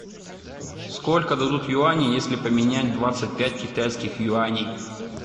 сколько дадут юаней если поменять двадцать пять китайских юаней